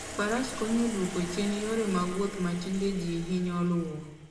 Faras konyo e dwoko chien yore mag wuoth ma tinde ji hinyo luwo